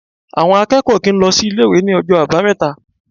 Àwọn akẹ́kọ̀ọ́ ò kì í lọ sí ilé-ìwé ní ọjọ́ Àbámẹ́ta.